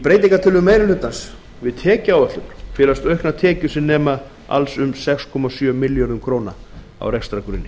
breytingartillögum meiri hlutans við tekjuáætlun felast auknar tekjur sem nema alls um sex komma sjö milljörðum króna á rekstrargrunni